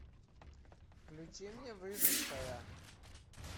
включи мне выжившая